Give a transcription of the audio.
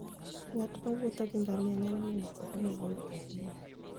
Ng'at mowuotho gi ngamia nyalo neno kuonde maboyo ahinya.